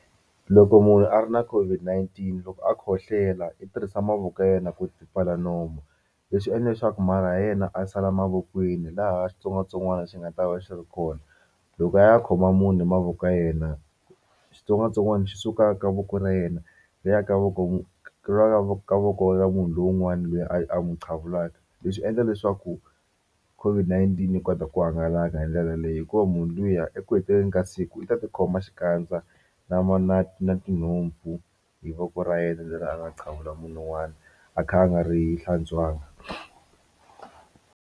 Loko munhu a ri na COVID-19 loko a khohlela i tirhisa mavoko ya yena ku ti pfala nomu leswi endla leswaku marhi yena a sala mavokweni laha xitsongwatsongwana xi nga ta va xi ri kona loko a ya khoma munhu hi mavoko ka yena xitsongwatsongwana xi suka ka voko ra yena ri ya ka voko ka voko ra munhu lowun'wana loyi a n'wi qhevulaka leswi endla leswaku COVID-19 yi kota ku hangalaka hi ndlela leyo hikuva munhu luya eku heteleleni ka siku u ta tikhoma xikandza na na tinhompfu hi voko ra yena leri a nga qhevula munhu wun'wani a kha a nga ri hlantswanga.